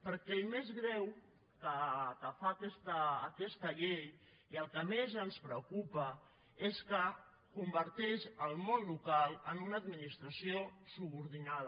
perquè el més greu que fa aquesta llei i el que més ens preocupa és que converteix el món local en una administració subordinada